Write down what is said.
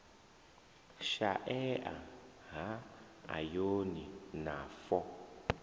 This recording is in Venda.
shaea ha ayoni na fo